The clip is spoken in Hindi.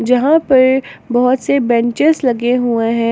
जहां पर बहोत से बेंचेज लगे हुए हैं।